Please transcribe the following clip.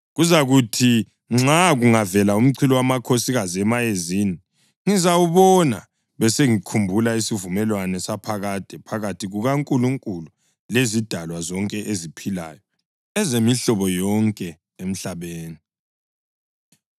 Kuzakuthi nxa kungavela umchilowamakhosikazi emayezini ngizawubona besengikhumbula isivumelwano saphakade phakathi kukaNkulunkulu lezidalwa zonke eziphilayo ezemihlobo yonke emhlabeni.”